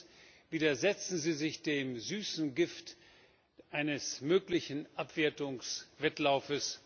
Zweitens Widersetzen Sie sich dem süßen Gift eines möglichen Abwertungswettlaufs.